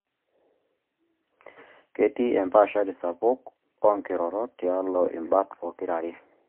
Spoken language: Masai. Ketii empaashari sapuk oo nkirorot tialo imbat pokira are